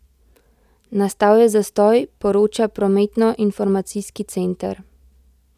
Nastal je zastoj, poroča prometnoinformacijski center.